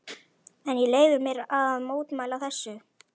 En ég leyfi mér að mótmæla þessu.